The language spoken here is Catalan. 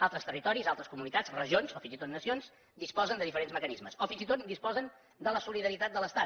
altres territoris altres comunitats regions o fins i tot nacions disposen de diferents mecanismes o fins i tot disposen de la solidaritat de l’estat